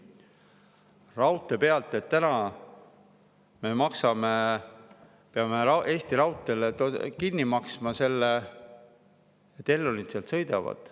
Raudtee peal me peame täna Eesti Raudteele kinni maksma selle, et Elroni seal sõidavad.